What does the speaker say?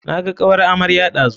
Naga kawar amarya ɗazu.